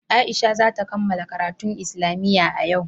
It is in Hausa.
Aisha za ta kammala karatun islamiyya a yau.